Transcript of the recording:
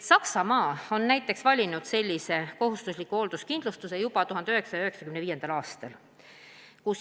Saksamaa on näiteks valinud sellise kohustusliku hoolduskindlustuse juba 1995. aastal.